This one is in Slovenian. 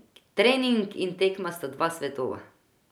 Trening in tekma sta dva svetova.